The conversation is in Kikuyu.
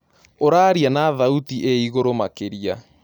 ũraarĩa na thaũtĩ ĩĩ ĩgũrũ makĩrĩa